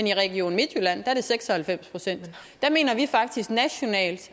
i region midtjylland er seks og halvfems procent der mener vi faktisk